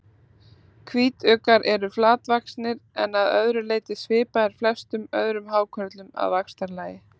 Hvítuggar eru flatvaxnir en að öðru leyti svipaðir flestum öðrum hákörlum að vaxtarlagi.